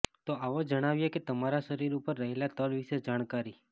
તો આવો જણાવીએ કે તમારા શરીર ઉપર રહેલા તલ વિષે જાણકારી